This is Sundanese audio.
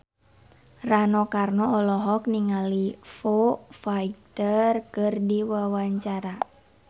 Rano Karno olohok ningali Foo Fighter keur diwawancara